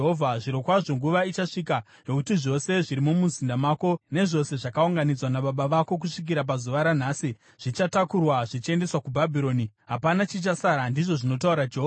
Zvirokwazvo nguva ichasvika yokuti zvose zviri mumuzinda mako, nezvose zvakaunganidzwa nababa vako kusvikira pazuva ranhasi, zvichatakurwa zvichiendeswa kuBhabhironi. Hapana chichasara, ndizvo zvinotaura Jehovha.